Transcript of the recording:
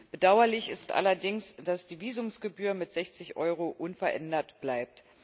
Bedauerlich ist allerdings, dass die Visumgebühr mit 60 Euro unverändert bleibt.